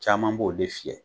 Caman b'o de fiyɛ.